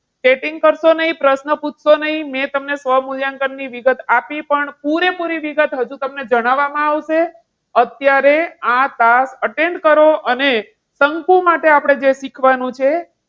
chatting કરશો નહીં, પ્રશ્ન પૂછશો નહીં. મેં તમને સ્વમૂલ્યાંકન ની વિગત આપી પણ પૂરેપૂરી વિગત હજુ તમને જણાવવામાં આવશે. અત્યારે આ task attend કરો. અને શંકુ માટે આપણે જે શીખવાનું છે.